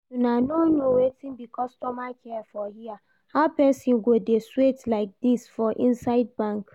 Una no know wetin be customer care for here, how person go dey sweat like this for inside bank?